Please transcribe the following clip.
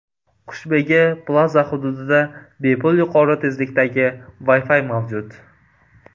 Qushbegi Plaza xududida bepul yuqori tezlikdagi Wi-Fi mavjud.